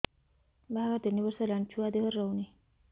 ବାହାଘର ତିନି ବର୍ଷ ହେଲାଣି ଛୁଆ ଦେହରେ ରହୁନି